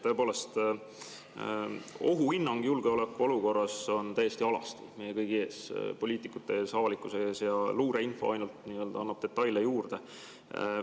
Tõepoolest, ohuhinnang julgeolekuolukorras on täiesti alasti meie kõigi ees, poliitikute ees, avalikkuse ees, ja luureinfo ainult annab detaile juurde.